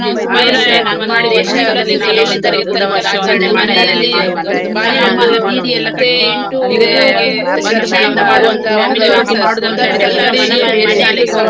ಅಂದ್ರೆ ನಾನು ಒಂದನೇ class ಇಂದ ಏಳನೇ ತರಗತಿ ತನಕ ನಾನ್ ನಮ್ದು ಮನೆ ಹತ್ತಿರನೇ ಇತ್ತು ಶಾಲೆಯೆಲ್ಲ. ಮತ್ತೆ ಎಂಟು, ಒಂಬತ್ತು, ಹತ್ತಕ್ಕೆ ನಮ್ಗೆ ಒಂದು ಒಂದು ಒಂದುವರೆ ಆ kilometer ಹೋಗ್ಲಿಕ್ಕಿತ್ತು.